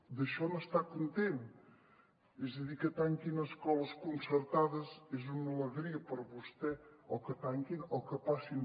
d’això n’està content és a dir que tanquin escoles concertades és una alegria per a vostè o que tanquin o que passin